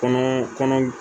Kɔnɔ kɔnɔ